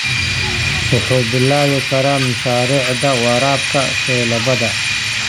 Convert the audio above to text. Wuxuu bilaabi karaa mashaariicda waraabka faleebada.